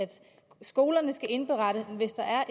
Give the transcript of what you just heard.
skolerne skal indberette hvis der er